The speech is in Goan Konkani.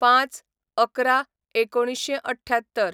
०५/११/१९७८